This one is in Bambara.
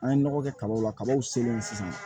An ye nɔgɔ kɛ kabaw la kabaw selen sisan